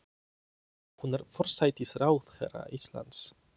Hún er forsætisráðherra Íslands.